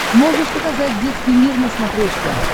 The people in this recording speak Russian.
можешь показать детский мир на смотрешке